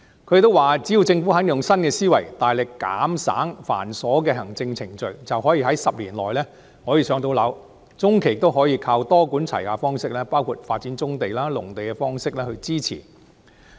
他們說只要政府肯用新思維，減省繁瑣的行政程序，便可以在10年內建成房屋，中期亦可多管齊下，發展棕地、農地以增加土地。